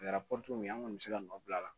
A kɛra kɔni bɛ se ka nɔ bila a la